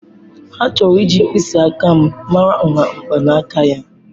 Ha chọrọ iji mkpịsị aka m mara nha mgbanaka ya.